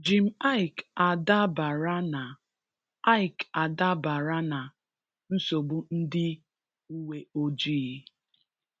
Jim Iyke adabara na Iyke adabara na nsogbu ndị uweojii?